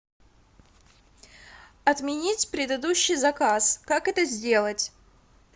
отменить предыдущий заказ как это сделать